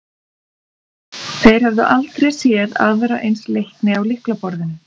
Þeir höfðu aldrei séð aðra eins leikni á lyklaborðinu.